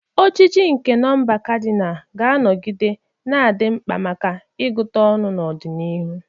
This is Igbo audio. Ojiji nke nọmba kadinal ga-anọgide na-adị mkpa maka ịgụta ọnụ n'ọdịnihu.